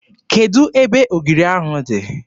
Kedụ ebe ogiri ahụ dị?